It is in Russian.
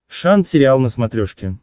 шант сериал на смотрешке